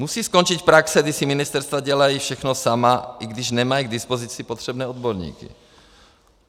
Musí skončit praxe, kdy si ministerstva dělají všechno sama, i když nemají k dispozici potřebné odborníky.